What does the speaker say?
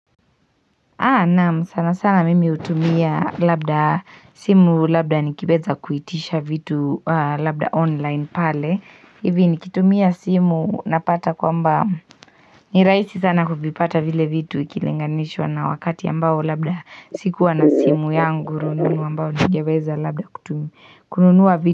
Naam sana sana mimi hutumia labda simu labda nikiweza kuitisha vitu labda online pale. Hivi nikitumia simu napata kwamba ni rahisi sana kuvipata vile vitu ikilinganishwa na wakati ambao labda sikuwa na simu yangu rununu ambayo ningeweza labda kutumia kununua vitu.